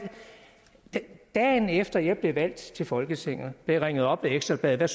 dagen efter jeg blev valgt til folketinget jeg ringet op af ekstra bladet der